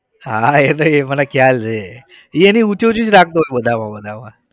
હા એ તો એ મને ખ્યાલ છે એ એની ઊંચી ઊંચી જ રાખતો હોય બધામાં બધામાં.